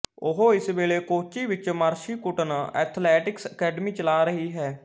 ਉਹ ਇਸ ਵੇਲੇ ਕੋਚੀ ਵਿੱਚ ਮਰਸੀ ਕੁਟਨ ਐਥਲੈਟਿਕਸ ਅਕੈਡਮੀ ਚਲਾ ਰਹੀ ਹੈ